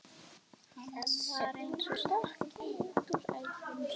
Hann var eins og stokkinn út úr ævintýri.